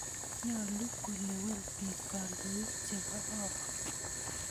Nyalu kolewen piik kandoik che kororon.